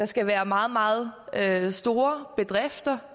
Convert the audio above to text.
skal være meget meget meget store bedrifter